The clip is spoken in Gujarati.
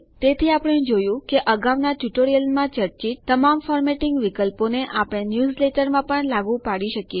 તેથી આપણે જોયું કે અગાઉના ટ્યુટોરિયલોમાંનાં ચર્ચિત તમામ ફોર્મેટિંગ વિકલ્પોને આપણે ન્યૂઝલેટરોમાં પણ લાગુ પાડી શકીએ છે